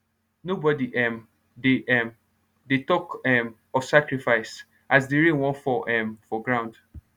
nobody um dey um dey talk um of sacrifice as the rain wan fall um for ground